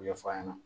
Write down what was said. Ɲɛfɔ a ɲɛna